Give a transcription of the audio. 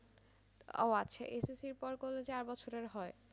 ও আচ্ছা SSC র পর করলে চার বছরের হয়